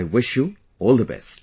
I wish you all the best